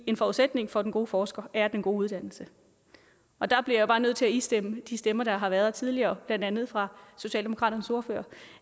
en forudsætning for den gode forsker er den gode uddannelse og der bliver jeg bare nødt til at istemme de stemmer der har været tidligere blandt andet fra socialdemokraternes ordfører